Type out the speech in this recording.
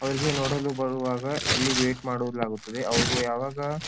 ಅವ್ರಿಗೆ ನೋಡಲು ಬರುವಾಗ ಇಲ್ಲಿ ವೇಟ್ ಮಾಡಲಾಗುತ್ತದೆ ಅವ್ರು ಯಾವಾಗ.